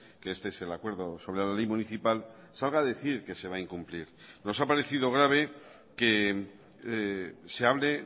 que este es el acuerdo sobre la ley municipal salga a decir que se va a incumplir nos ha parecido grave que se hable